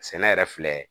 Sɛnɛ yɛrɛ filɛ